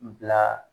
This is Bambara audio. Bila